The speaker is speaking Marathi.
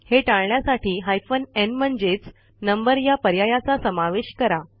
हे टाळण्यासाठी हायफेन न् म्हणजेच नंबर या पर्यायाचा समावेश करा